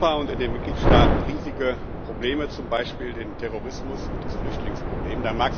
Wir haben in Europa und in den Mitgliedstaaten riesige Probleme, zum Beispiel den Terrorismus und das Flüchtlingsproblem.